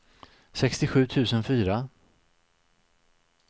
sextiosju tusen fyra